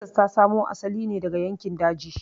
Texas ta samo asali ne daga yankin daji.